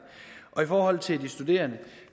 i forhold til de studerende